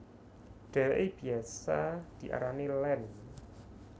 Dheweke biyasa diarani Land